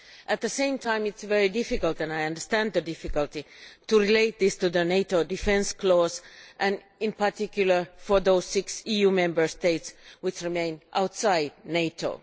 At the same time it is very difficult, and I understand the difficulty, to relate these to the NATO defence clause, and in particular for those six EU Member States which remain outside NATO.